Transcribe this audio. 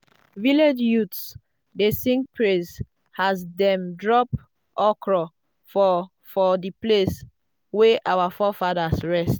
village youths dey sing praise as dem drop okro for for the place wey our forefathers rest.